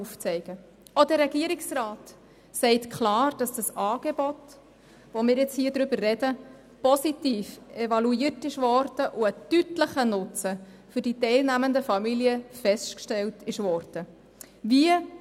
Auch der Regierungsrat sagt deutlich, dass das angesprochene Angebot positiv evaluiert und für die Familien, welche am Projekt teilgenommen haben, ein deutlicher Nutzen festgestellt worden ist.